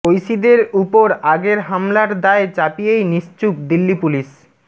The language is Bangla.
ঐশীদের উপর আগের হামলার দায় চাপিয়েই নিশ্চুপ দিল্লি পুলিশ